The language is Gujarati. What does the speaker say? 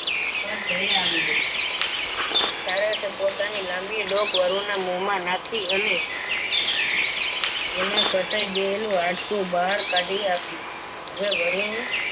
પર દયા આવી ગઈ સારસ એ પોતાની લાંબી ડોક માં નાખી અને એમાં ફસાઈ ગયેલું હાડકું બહાર કાઢી આપ્યું હવે વરુ